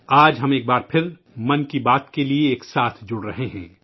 آج ہم ایک بار پھر 'من کی بات' کے لیے ایک ساتھ جڑ رہے ہیں